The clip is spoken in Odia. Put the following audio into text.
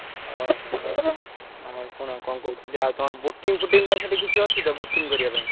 ଓହୋ! ଆଉ ଶୁଣ କଣ କହୁଥିଲି ଆଉ ତମର boating ଫୋଟିଙ୍ଗ ପାଇଁ ସେଠି କିଛି ଅଛି ତ boating କରିଆ ପାଇଁ?